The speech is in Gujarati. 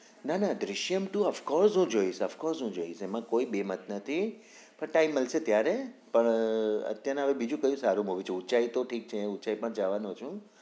ના નાદૃશ્યમ two હું of course હું જોઈશ of course હું જોઈશ એમાં કોઈ બેબ્ન્દ નથી time મળશે ત્યારે પણ અતેયા ને કકયું સારું મુવી જોવું ઉંચાઈ તો ઠીક છે ઉંચાઈ પણ જવાનું છુ